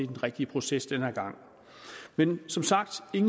den rigtige proces den her gang men som sagt